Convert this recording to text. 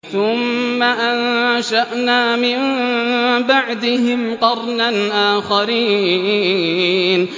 ثُمَّ أَنشَأْنَا مِن بَعْدِهِمْ قَرْنًا آخَرِينَ